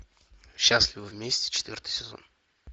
счастливы вместе четвертый сезон